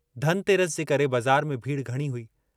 धन तेरस जे करे बज़ार में भीड़ घणी हुई।